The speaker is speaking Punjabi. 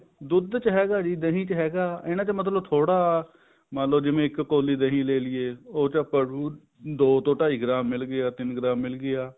ਦੁੱਧ ਚ ਹੈਗਾ ਦਹੀਂ ਚ ਹੈਗਾ ਇਹਨਾ ਚ ਮਤਲਬ ਥੋੜਾ ਮੰਨਲੋ ਜਿਵੇਂ ਇੱਕ ਕੋਲੀ ਦਹੀਂ ਲੈਲੀਏ ਉਹ ਚ ਆਪਾਂ ਨੂੰ ਦੋ ਜਾਂ ਢਾਈ ਗ੍ਰਾਮ ਮਿਲ ਗਿਆ ਜਾਂ ਤਿੰਨ ਗ੍ਰਾਮ ਮਿਲ ਗਿਆ